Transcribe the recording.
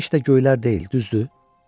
Bu heç də göylər deyil, düzdür?